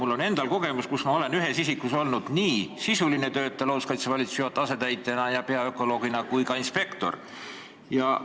Mul on endal kogemus selles valdkonnas, ma olen olnud nii sisuline töötaja looduskaitsevalitsuse juhataja asetäitjana ja peaökoloogina kui ka inspektor ühes isikus.